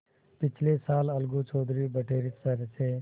पिछले साल अलगू चौधरी बटेसर से